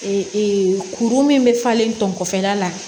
Ee kuru min bɛ falen tɔ kɔfɛla la